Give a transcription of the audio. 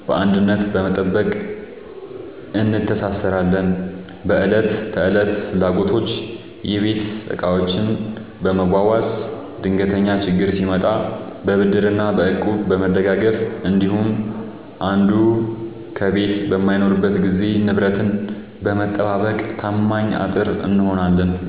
በአንድነት በመጠበቅ እንተሳሰራለን። በዕለት ተዕለት ፍላጎቶች፦ የቤት ዕቃዎችን በመዋዋስ፣ ድንገተኛ ችግር ሲመጣ በብድርና በእቁብ በመደጋገፍ እንዲሁም አንዱ ከቤት በማይኖርበት ጊዜ ንብረትን በመጠባበቅ ታማኝ አጥር እንሆናለን።